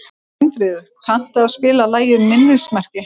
Steinfríður, kanntu að spila lagið „Minnismerki“?